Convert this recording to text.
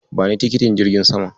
Bani tikitin jirgin saman.